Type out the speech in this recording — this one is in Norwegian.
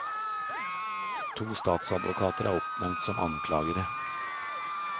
To statsadvokater er oppnevnt som anklagere.